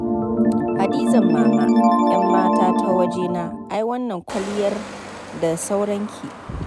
Hadizan Mama ƴammata ta wajena ai wannan kwalliyar da sauranki.